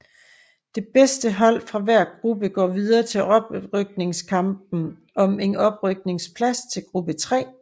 Det bedste hold fra hver gruppe går videre til oprykningskampen om en oprykningsplads til gruppe 3